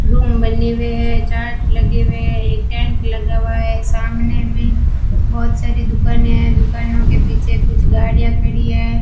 Room बने हुए हैं चार्ट लगे हुए हैं एक टेंट लगा हुआ है सामने भी बहोत सारी दुकानें हैं दुकानों के पीछे कुछ गाड़ियां खड़ी है।